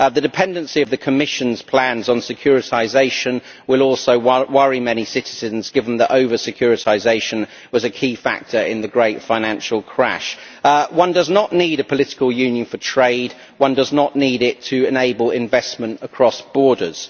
The dependency of the Commission's plans on securitisation will also worry many citizens given that over securitisation was a key factor in the great financial crash. One does not need a political union for trade, and one does not need it to enable investment across borders.